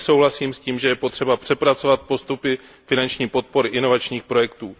Velmi souhlasím s tím, že je potřeba přepracovat postupy finanční podpory inovačních projektů.